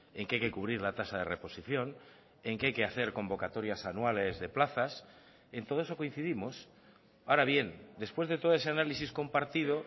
en que hay que cubrir la tasa de reposición en que hay que hacer convocatorias anuales de plazas en todo eso coincidimos ahora bien después de todo ese análisis compartido